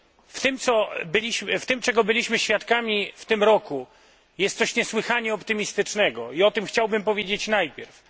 W tym, czego byliśmy świadkami w tym roku jest coś niesłychanie optymistycznego i o tym chciałbym powiedzieć najpierw.